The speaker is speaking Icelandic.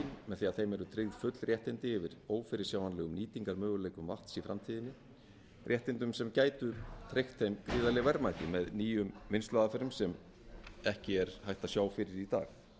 með því að þeim eru tryggð full réttindi yfir ófyrirsjáanlegum nýtingarmöguleikum vatns í framtíðinni réttindum sem gætu tryggt þeim gríðarleg verðmæti með nýjum vinnsluaðferðum sem ekki er hægt að sjá fyrir í dag enginn